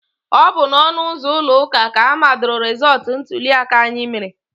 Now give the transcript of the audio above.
Ọ bụ n'ọnụ ụzọ ụlọ ụka ka amadoro rezọtụ ntuliaka anyị mere.